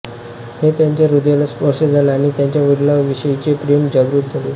हे त्याच्या हृदयाला स्पर्श झाला आणि त्याच्या वडिलांविषयीचे प्रेम जागृत झाले